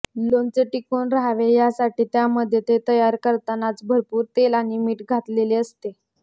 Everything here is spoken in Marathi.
लोणचे टिकून राहावे ह्यासाठी त्यामध्ये ते तयार करतानाच भरपूर तेल आणि मीठ घातलेले असते